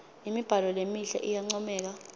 imibhalo lemihle iyancomeka